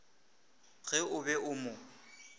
ge o be o mo